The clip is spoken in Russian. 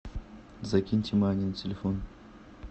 закиньте мани на телефон